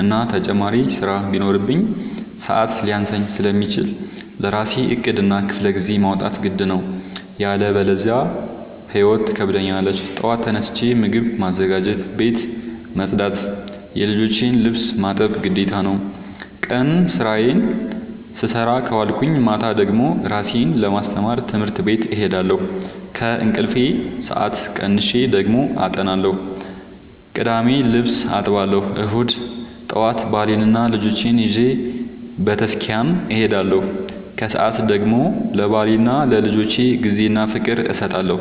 እና ተጨማሪ ስራ ቢኖርብኝ። ሰዐት ሊያንሰኝ ስለሚችል ለራሴ ዕቅድ እና ክፍለጊዜ ማውጣት ግድ ነው። ያለበዚያ ህይወት ትከብደኛለች ጠዋት ተነስቼ ምግብ ማዘጋጀት፣ ቤት መፅዳት የልጆቼን ልብስ ማጠብ ግዴታ ነው። ቀን ስራዬን ስሰራ ከዋልኩኝ ማታ ደግሞ እራሴን ለማስተማር ትምህርት ቤት እሄዳለሁ። ከእንቅልፌ ሰአት ቀንሼ ደግሞ አጠናለሁ ቅዳሜ ልብስ አጥባለሁ እሁድ ጠዋት ባሌንና ልጆቼን ይዤ በተስኪያን እሄዳለሁ። ከሰዓት ደግሞ ለባሌና ለልጆቼ ጊዜ እና ፍቅር እሰጣለሁ።